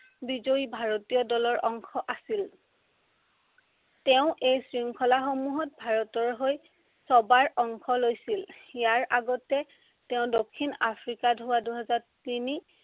বিজয়ী ভাৰতীয় দলৰ অংশ আছিল। তেওঁ এই শৃংখলাসমূহত ভাৰতৰ হৈ ছবাৰ অংশ লৈছিল। ইয়াৰে আগতে তেওঁ দক্ষিণ আফ্ৰিকাত হোৱা দুহেজাৰ তিনি